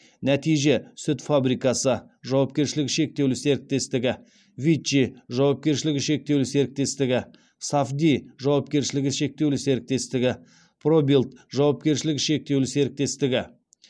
нәтиже сүт фабрикасы жауапкершілігі шектеулі серіктестігі виччи жауапкершілігі шектеулі серіктестігі сафди жауапкершілігі шектеулі серіктестігі пробилд жауапкершілігі шектеулі серіктестігі